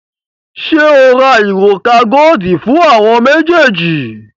Ṣé o ra òrùka godi fún àwọn méjèèjì?